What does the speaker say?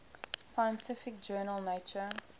scientific journal nature